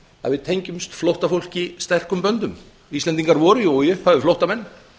að við tengjumst flóttafólki sterkum böndum íslendingar voru í upphafi flóttamenn